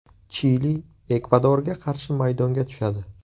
Chili Ekvadorga qarshi maydonga tushadi.